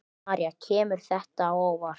María: Kemur þetta á óvart?